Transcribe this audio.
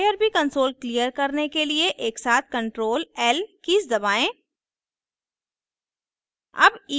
irb console clear करने के लिए एकसाथ ctrl l कीज़ दबाएं